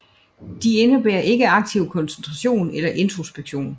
De indebærer ikke aktiv koncentration eller introspektion